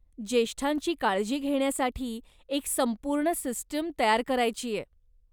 ज्येष्ठांची काळजी घेण्यासाठी एक संपूर्ण सिस्टम तयार करायचीय.